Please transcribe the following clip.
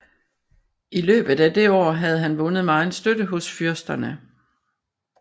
I løbet af det år havde han vundet megen støtte hos fyrsterne